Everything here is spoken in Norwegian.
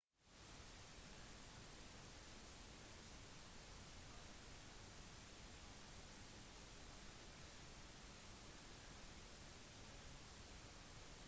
mannen hadde med seg sprengstoff og skal ha kjørt inn i en folkemengde med en trehjuling